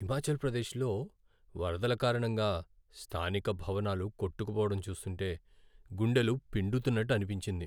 హిమాచల్ ప్రదేశ్లో వరదల కారణంగా స్థానిక భవనాలు కొట్టుకుపోవడం చూస్తుంటే గుండెలు పిండుతున్నట్టు అనిపించింది.